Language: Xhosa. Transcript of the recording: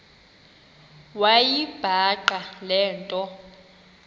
wayibhaqa le nto